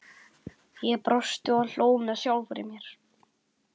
Ég brosti og hló með sjálfri mér.